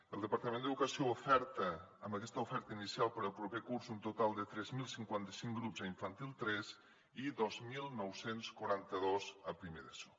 el departament d’educació oferta amb aquesta oferta inicial per al proper curs un total de tres mil cinquanta cinc grups a infantil tres i dos mil nou cents i quaranta dos a primer d’eso